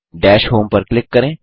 दश होम पर क्लिक करें